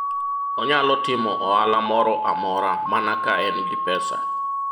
onyalo timo ohala moro amora mana ka en gi pesa